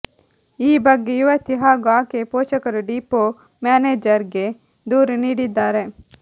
ಈ ಬಗ್ಗೆ ಯುವತಿ ಹಾಗೂ ಆಕೆಯ ಪೋಷಕರು ಡಿಪೋ ಮ್ಯಾನೇಜರ್ ಗೆ ದೂರು ನೀಡಿದ್ದಾರೆ